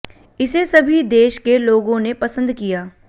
इसे सभी देश के लोगों ने पसंद किया